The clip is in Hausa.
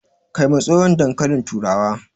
Kai ma tsohon dankalin turawa